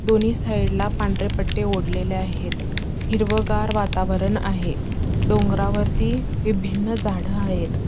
दोन्ही साइडला पांढरे पट्टे ओढलेले आहेत हिरवगार वातावरण आहे डोंगरावरती विभिन्न झाड आहेत.